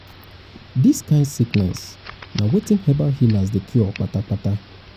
dis kind sickness na wetin herbal healers dey cure kpata kpata.